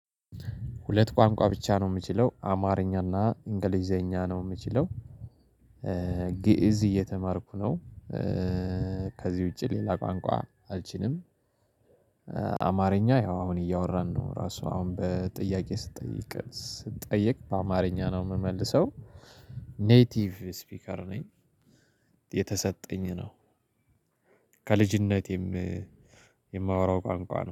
ሁለት ቋንቋ ብቻ ነው የምችለው አማርኛና እንግሊዝኛ ነው የምችለው። ግእዝ እየተማርኩ ነው። ከዚህ ውጪ ሌላ ቋንቋ አልችልም። አማርኛ ያው አሁን እያወራን ነው ራሱ አሁን በጥያቄ ስትጠይቅ ስጠየቅ በአማርኛ ነው የምመልሰው። ኔቲቭ ስፒከር ነኝ። የተሰጠኝ ነው። ከልጅነቴም የማወራው ቋንቋ ነው